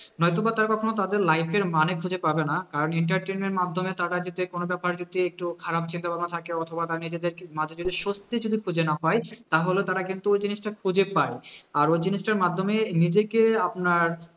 নয়তো বা তারা কোনো তাদের life এর মানে খুঁজে পাবে না, entertainment মাধ্যমে তারা যাতে কোনো ব্যাপারে যদি একটু খারাপ চিন্তাভাবনা থাকে অথবা তারা নিজেদেরকে মাঝে স্বস্তি যদি খুঁজে না পায়, তাহলে তারা কিন্তু ওই জিনিসটা খুঁজে পায়, আর ওই জিনিসটার মাধ্যমেই নিজেকে আপনার